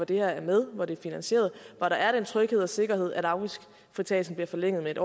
det her er med hvor det er finansieret hvor der er den tryghed og sikkerhed at afgiftsfritagelsen bliver forlænget med